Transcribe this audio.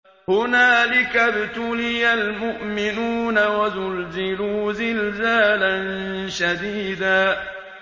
هُنَالِكَ ابْتُلِيَ الْمُؤْمِنُونَ وَزُلْزِلُوا زِلْزَالًا شَدِيدًا